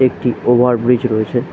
একটি over bridge রয়েছে।